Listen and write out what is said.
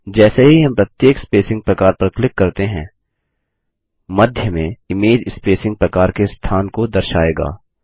जैसे ही हम प्रत्येक स्पसिंग प्रकार पर क्लिक करते हैं मध्य में इमेज स्पेसिंग प्रकार के स्थान को दर्शाएगा